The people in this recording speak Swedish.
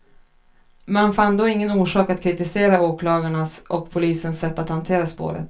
Man fann då ingen orsak att kritisera åklagarnas och polisens sätt att hantera spåret.